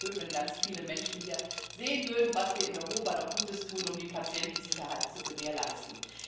Denn es wäre schön, wenn ganz viele Menschen hier sehen würden, was wir in Europa doch Gutes tun, um die Patientensicherheit zu gewährleisten.